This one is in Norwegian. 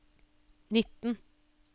nitten